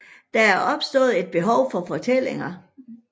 Der er opstået et behov for fortællinger